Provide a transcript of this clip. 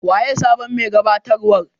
Wanene sabon me gabatarwar?